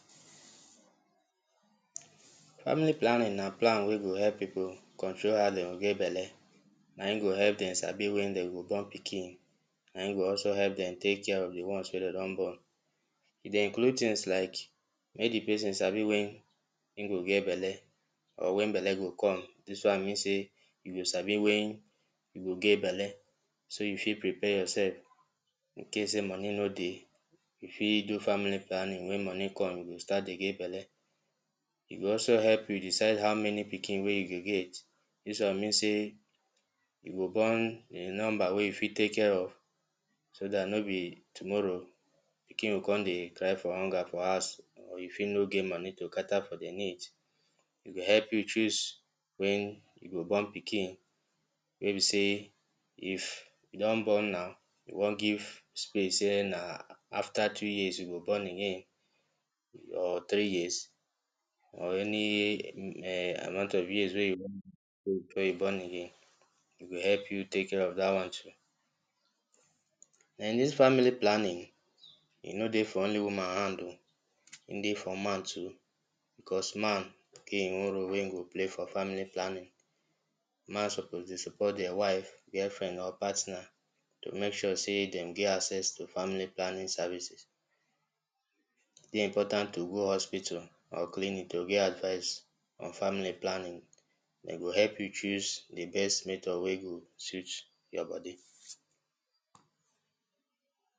Family planning na plan wen go help people control how dem go get belle na im go help dem sabi wen dem go born pikin na im go also help dem take care of di ones wen dem don born. E dey include things like, make di person sabi wen im go get belle or wen belle go come dis one mean sey you go sabi wen you go get belle, so you fit prepare your self, incase sey money no dey, you fit do family planning wen money come you go start dey get belle. E go also help you decide how many pikin wey you go get dis one mean sey you go born di number wey you fit take care of. So dat no be tomorrow pikin go come dey cry for hunger for house or you fit no get money to cater for di needs, e go help you choose wen you go born pikin, wey be sey if you don born am, you wan give space sey na after two years you go born again, or three years or any um amount of years wen you before you born again .e go help you take care of dat one too, and dis family planning, e no dey for only woman hand oh, e dey for man too, because man get e own role wey e go play for family planning, man suppose dey support dia wife, girl friend or partner to make sure sey dem get access to family planning services, e dey important to go hospital or clinic to get advice on family planning. Dem go help you choose di best method wey go suit your body.